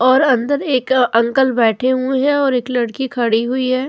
और अंदर एक अंकल बैठे हुए हैं और एक लड़की खड़ी हुई है।